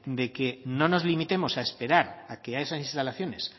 de que no nos limitemos a esperar a que a esas instalaciones